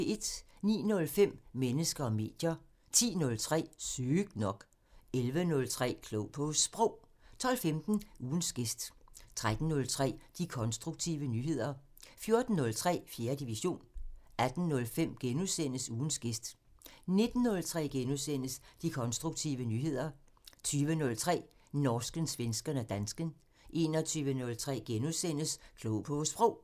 09:05: Mennesker og medier 10:03: Sygt nok 11:03: Klog på Sprog 12:15: Ugens gæst 13:03: De konstruktive nyheder 14:03: 4. division 18:05: Ugens gæst * 19:03: De konstruktive nyheder * 20:03: Norsken, svensken og dansken 21:03: Klog på Sprog *